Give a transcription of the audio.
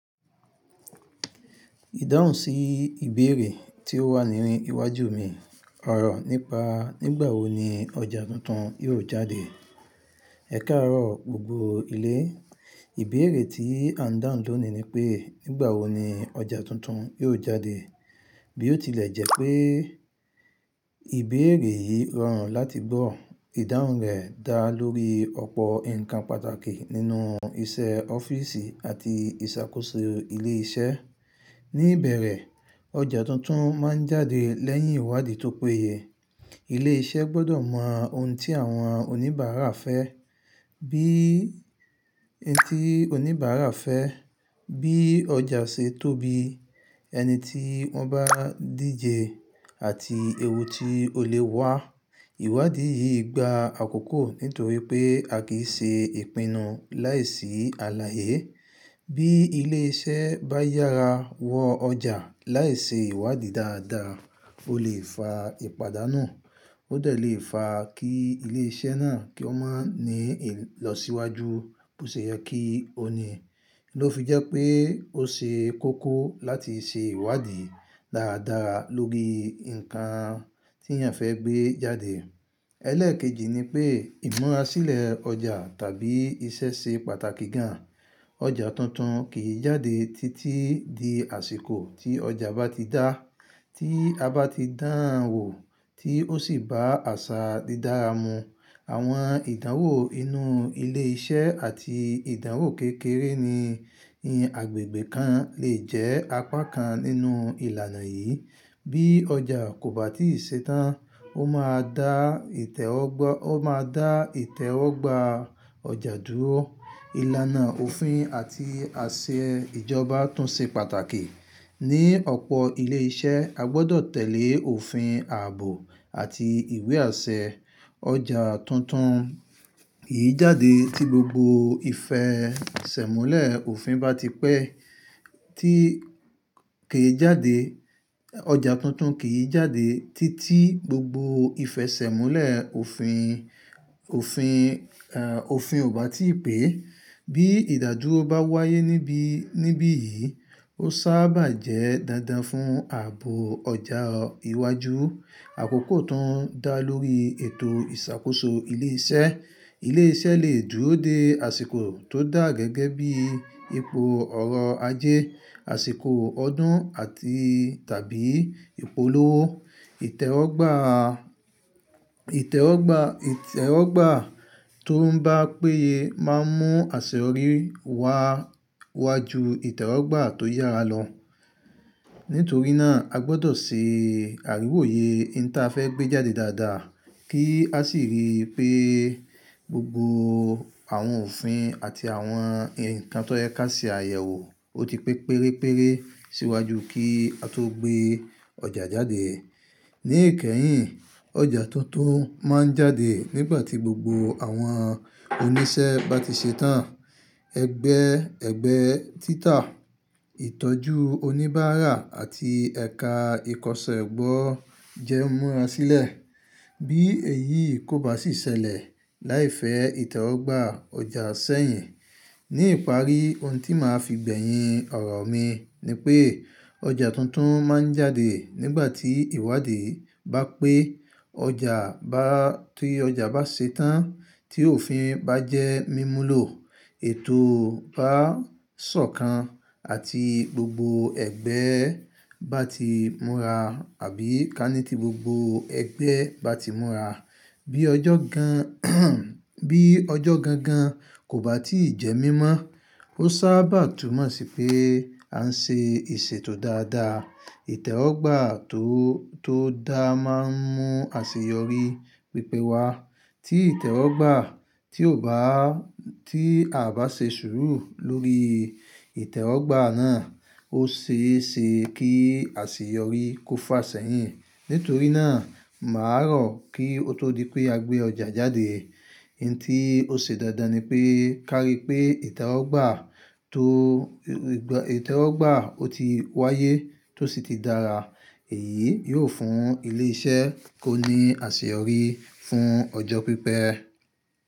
Ìdáhùn sí ìbéèrè tí ó wà ní inú iwájú mi ọ̀rọ̀ nípa nígbà wo ni ọjà tuntun yóò jáde. Ẹ káàárọ̀ gbogbo ilé, ìbéèrè tí à ń dáhùn lónìí ni pé nígbà wo ni ọjà tuntun yóò jáde. Bí ó tilẹ̀ jẹ́ pé ìbéèrè yìí rọrùn láti gbọ́, ìdáhùn rẹ̀ dá lórí ọ̀pọ̀ ǹkan pàtàkì nínú iṣẹ́ ọ́fíìsì àti ìṣàkóso ilé iṣẹ́. Ní ìbẹ̀rẹ̀, ọjà tuntun má ń jáde lẹ́yìn ìwádìí tó péye. Ilé iṣẹ́ gbọ́dọ̀ mọ ohun tí àwọn oníbàárà fẹ́, bí ohun tí oníbàárà fẹ́, bí ọjà ṣe tóbi, ẹni tí wọ́n bá díje àti èwo tí ó lè wá. Ìwádìí yìí gba àkókò nítorí pé a kì í ṣe ìpinnu láìsí àláìyé. Bí ilé iṣẹ́ bá yára wọ ọjà láìṣe ìwádìí dáadáa, ó lè fa ìpadánù. Ó dẹ̀ lè fa kí ilé iṣẹ́ náà kí ó má ní ì lọ síwájú bó ṣe yẹ kí ó ní. Kí ló fi jẹ́ pé ó ṣe kókó láti ṣe ìwádìí dáadáa lórí ǹkan tí ẹ̀ ń fẹ́ gbé jáde. Ẹlẹ́ẹ̀kejì ni pé ìmọ̀ sílẹ̀ ọjà tàbí iṣẹ́ ṣe pàtàkì gan. Ọjà tuntun kì í jáde títí di àsìkò tí ọjà bá ti dá, tí a bá ti dán wò tí ó sì bá àṣà dídára mu. Àwọn ìdánwò inú ilé iṣẹ́ àti ìdánwò kékeré ní ni agbègbè kan lè jẹ́ apá kan nínú ìlànà yìí. Bí ọjà kò bá tíì ṣe tán, ó máa dá ìtẹ́wọ́gba ọjà dúró. Ìlànà òfin àti àṣẹ ìjọba tún ṣe pàtàkì. Ní ọ̀pọ̀ ilé iṣẹ́, a gbọ́dọ̀ tẹ̀lé òfin ààbò àti ìwé àṣẹ. Ọjà tuntun kì í jáde tí gbogbo ìfẹsẹ̀múlẹ̀ òfin bá ti pẹ́. Tí kì í jáde, ọjà tuntun kì í jáde títí gbogbo ìfẹsẹ̀múlẹ̀ òfin, òfin, eh, òfin ò bá tíì pé. Bí ìdádúró bá wáyé níbi, níbí yìí, ó sábà jẹ́ dándán fún ààbò ọjà iwájú. Àkókò tán ń dá lórí ètò ìṣàkóso ilé iṣẹ́. Ilé iṣẹ́ lè dúró de àsìkò tó dà gẹ́gẹ́ bí ipò ọ̀rọ̀ ajé, àsìkò ọdún àti tàbí ìpolówó. Ìtẹ́wọ́gba, ìtẹ́wọ́gba, ìtẹ́wọ́gba tó ń bá péye má ń mú àṣeyọrí wá wájú ìtẹ́wọ́gba tó yára lọ. Nítorí náà, a gbọ́dọ̀ ṣe àríwóye in tí a fẹ́ gbé jáde dáadáa kí a sì rí i pé gbogbo àwọn òfin àti àwọn ǹkan tó yẹ kí a ṣe àyẹ̀wò ó ti pé pérére síwájú kí a tó gbé ọjà jáde. Ní ìkẹyìn, ọjà tuntun má ń jáde nígbà tí gbogbo àwọn oníṣẹ́ bá ti ṣe tán. Ẹgbẹ́, ẹgbẹ́ títà, ìtọ́jú oníbàárà àti ẹ̀ka ìkọsẹ́ ẹ̀gbọ́ jẹ́ ìmọ̀ àsílẹ̀. Bí èyí kò bá sì ṣẹlẹ̀ láìfẹ́ ìtẹ́wọ́gba ọjà sẹ́yìn. Ní ìparí ohun tí màá fi gbẹ̀yin ọ̀rọ̀ mi ni pé ọjà tuntun má ń jáde nígbà tí ìwádìí bá pé, ọjà bá, tí ọjà bá ṣe tán, tí òfin bá jẹ́ mímúlò, ètò bá sọ̀kan àti gbogbo ẹgbẹ́ bá ti múra àbí ká ní tí gbogbo ẹgbẹ́ bá ti múra. Bí ọjọ́ gan, bí ọjọ́ gangan kò bá tí ì jẹ́ mímọ́, ó sábà túnmọ̀ sí pé a ń ṣe ìṣètò dáadáa. Ìtẹ́wọ́gba tó, tó dáa má ń mú àṣeyọrí pípẹ́ wá. Tí ìtẹ́wọ́gba tí ò bá, tí a ò bá ṣe sùúrù lórí ìtẹ́wọ́gba náà, ó ṣe é ṣe kí àṣeyọrí kó fà sẹ́yìn. Nítorí náà, màá rọ̀ kí ó tó di pé a gbé ọjà jáde, ohun tí ó ṣe dáadáa ni pé ká rí pé ìtẹ́wọ́gba tó, ìtẹ́wọ́gba ó ti wáyé tó sì ti dára. Èyí yóò fún ilé iṣẹ́ kó ní àṣeyọrí fún ọjọ́ pípẹ́.